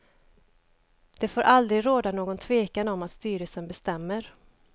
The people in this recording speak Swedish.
Det får aldrig råda någon tvekan om att styrelsen bestämmer.